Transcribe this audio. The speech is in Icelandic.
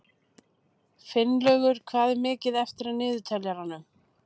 Finnlaugur, hvað er mikið eftir af niðurteljaranum?